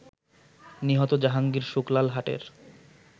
নিহত জাহাঙ্গীর শুকলাল হাটের